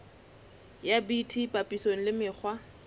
ya bt papisong le mekgwa